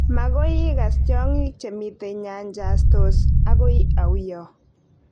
Makoi ikas tyong'ik chemitei nyanjas-tos akoi auiyo?